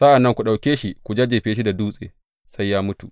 Sa’an nan ku ɗauke shi ku jajjefe shi da dutse sai ya mutu.